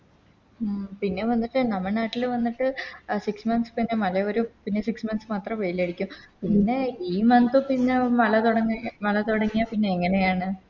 പിന്നെ വന്നിട്ട് നമ്മ നാട്ടില് വന്നിട്ട് Six month വന്നിട്ട് മഴ വരും പിന്നെ Six month മാത്രേ വെയിലടിക്കു പിന്നെ ഈ Month പിന്നെ മല തൊടങ്ങി മല തൊടങ്ങിയ പിന്നെങ്ങനെയാണ്